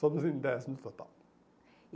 Somos em dez no total.